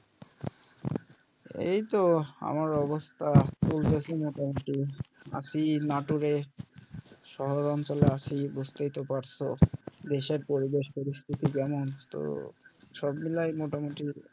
এইতো আমার অবস্থা বুঝলে কি মোটামুটি আছি নাটোরে শহরাঞ্চলে আছি বুজতেই তো পারছো দেশের পরিবেশ পরিস্থিতি কেমন তো সবমিলাই মোটামুটি